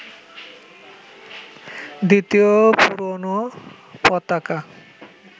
দ্বিতীয় পুরোনো পতাকা